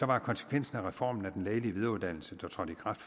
var konsekvensen af reformen af den lægelige videreuddannelse der trådte i kraft